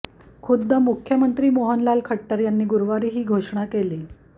खुद्द मुख्यमंत्री मनोहरलाल खट्टर यांनी गुरुवारी ही घोषणा केली